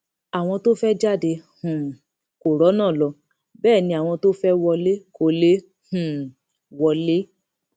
àwọn tó fẹẹ jáde um kó rọnà lọ bẹ ẹ ni àwọn tó fẹẹ wọlé kó lè um wọlé